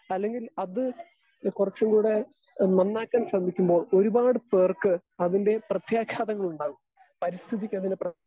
Speaker 2 അല്ലെങ്കിൽ അത് കുറച്ചുംകൂടെ നന്നാക്കാൻ ശ്രമിക്കുമ്പോൾ ഒരുപാട് പേർക്ക് അതിൻ്റെ പ്രത്യാഘാതങ്ങൾ ഉണ്ടാകും. പരിസ്ഥിതിക്ക് അതിന് പ്ര